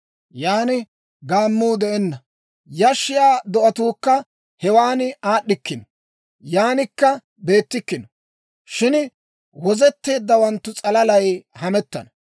Yan gaammuu de'enna; yashshiyaa do'atuukka hewaana aad'd'ikkino; yaanikka beettikkino; shin wozetteeddawanttu s'alalay hamettana.